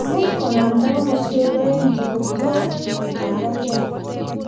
Much konamda komoswek oeng chepo jaw ago kergei.